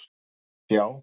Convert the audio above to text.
Því sjá!